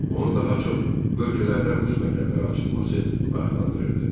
Onu daha çox bölgələrdə rus məktəbləri açılması maraqlandırırdı.